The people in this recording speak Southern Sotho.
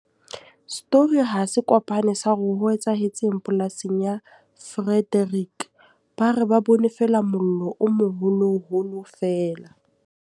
Story hase kopane sa hore ho etsahetseng polasing ya Frederick, ba re ba bone feela mollo o moholoholo feela.